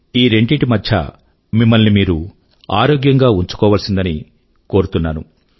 ఈ రెండింటి మధ్యా మిమ్మల్ని మీరు ఆరోగ్యం గా ఉంచుకోవాల్సిందని నేను కోరుతున్నాను